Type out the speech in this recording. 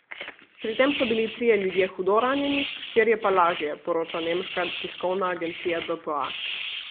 Pri tem so bili trije ljudje hudo ranjeni, štirje pa lažje, poroča nemška tiskovna agencija dpa.